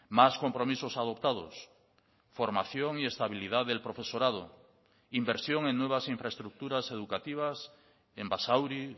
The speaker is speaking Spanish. más compromisos adoptados formación y estabilidad del profesorado inversión en nuevas infraestructuras educativas en basauri